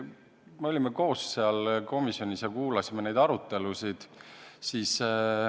Me olime mõlemad seal komisjonis ja kuulasime neid arutelusid.